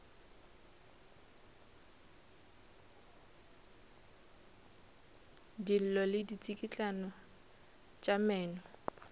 dillo le ditsikitlano tša meno